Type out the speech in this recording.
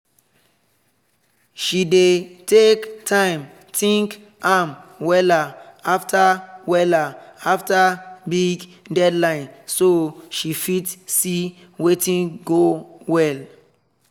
she dey take time think am wella after wella after big deadline so she fit see watin go well